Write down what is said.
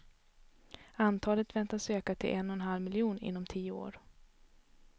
Antalet väntas öka till en och en halv miljon inom tio år.